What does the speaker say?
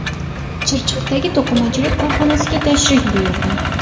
Chirchiqdagi to‘qimachilik korxonasiga tashrif buyurdi .